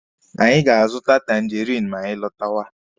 Anyị ga-azụta tangerinụ ma anyị lọtawa.